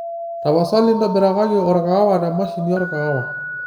tapasali ntobirakaki orkaawa temashini orkaawa